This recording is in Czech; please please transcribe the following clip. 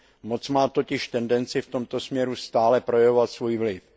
Moc má totiž tendenci v tomto směru stále projevovat svůj vliv.